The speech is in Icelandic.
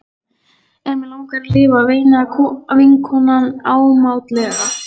En mig langar að lifa, veinaði vinkonan ámátlega.